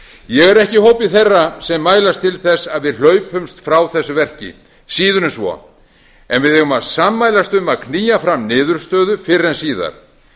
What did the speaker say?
ég er ekki í hópi þeirra sem mælast til þess að við hlaupumst frá þessu verki síður en svo en við eigum að sammælast um að knýja fram niðurstöðu fyrr en síðar